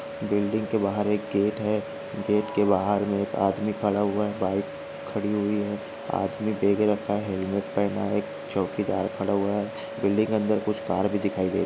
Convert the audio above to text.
building के बाहर एक गेट है गेट के बाहर एक आदमी खडा हुआ बाईक खडी हुई है आदमी बॅग रखा है हेल्मेट पहना है चौकीदार खडा हुआ है बिल्डींग के अंदर कुछ कार भी दिखाई--